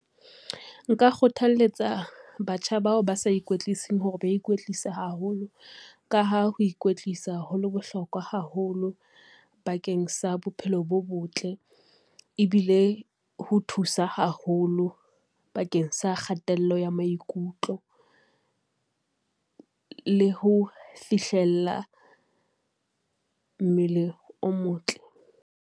Nka kgothalletsa batjha bao ba sa ikwetliseng hore ba ikwtlise haholo, ka ha ho ikwetlisa ho le bohlokwa haholo bakeng sa bophelo bo botle. Ebile ho thusa haholo bakeng sa kgatello ya maikutlo le ho fihlella mmele o motle.